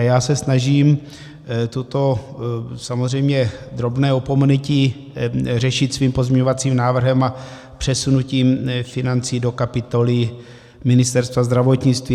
A já se snažím toto samozřejmě drobné opomenutí řešit svým pozměňovacím návrhem a přesunutím financí do kapitoly Ministerstva zdravotnictví.